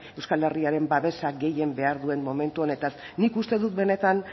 euskal herriaren babesa gehien behar duen momentu honetaz nik uste dut benetan